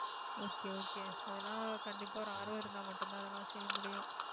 okay okay அதெல்லாம் கண்டிப்பா ஒரு ஆர்வம் இருந்தா மட்டும்தான் அதெல்லாம் செய்ய முடியும்